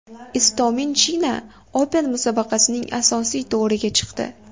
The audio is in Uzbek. Istomin China Open musobaqasining asosiy to‘riga chiqdi.